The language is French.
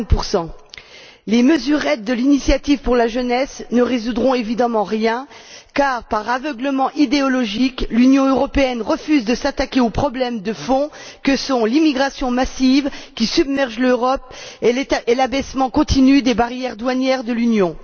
50 Les mesurettes de l'initiative pour la jeunesse ne résoudront évidemment rien car, par aveuglement idéologique, l'Union européenne refuse de s'attaquer aux problèmes de fond que sont l'immigration massive, qui submerge l'Europe, et l'abaissement continu des barrières douanières de l'Union.